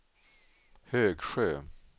Högsjö